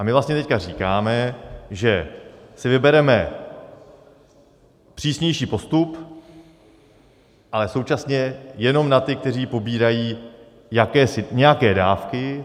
A my vlastně teď říkáme, že si vybereme přísnější postup, ale současně jenom na ty, kteří pobírají nějaké dávky.